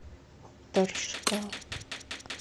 торжка